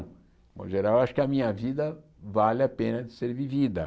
De um modo geral, eu acho que a minha vida vale a pena de ser vivida.